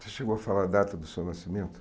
Você chegou a falar a data do seu nascimento?